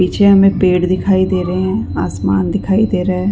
पीछे हमे पेड़ दिखाई दे रहे है आसमान दिखाई दे रहे है।